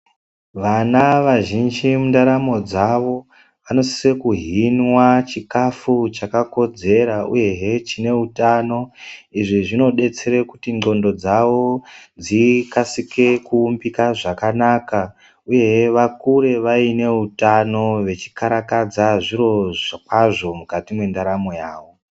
Vana vazhinji mundaramo dzavo vanosise kuhinwa chikafu chakakodzera uyehe chineutano. Izvi zvinodetsera kuti ndxondo dzavo dzikasike kuumbika zvakanaka uyehe vakure vaine utano vechikarakadzi zviro kwazvo mukati mwendaramo yavo.